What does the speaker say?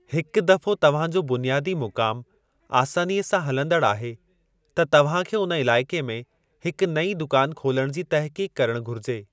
हिक दफ़ो तव्हां जो बुनियादी मुक़ामु आसानीअ सां हलंदड़ आहे, त तव्हां खे उन इलाइक़े में हिक नईं दुकान खोलण जी तहक़ीक़ करणु घुरिजे।